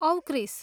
औ क्रिस!